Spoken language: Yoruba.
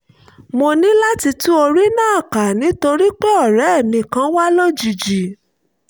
mo ní láti tún orí náà kà nítorí pé ọ̀rẹ́ mi kan wá lójijì